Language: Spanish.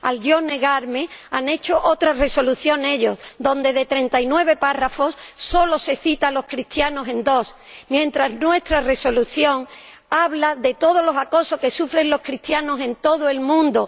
Al negarme, han hecho otra Resolución ellos, donde, de 39 apartados, solo se cita a los cristianos en dos, mientras que nuestra Resolución habla de todos los acosos que sufren los cristianos en todo el mundo.